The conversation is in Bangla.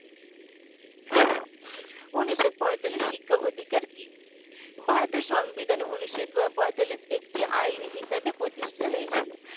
উনিশ শ পঁয়তালিশ শিক্ষা অধিকার কি ভারতের সংবিধানে উনিশ শ পঁয়তালিশ একটি আইন হিসাবে প্রতিষ্ঠিত হয়েছিল